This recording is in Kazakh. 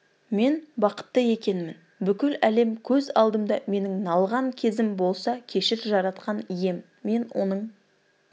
мен бақытты екенмін бүкіл әлем көз алдымда менің налыған кезім болса кешір жаратқан ием мен оның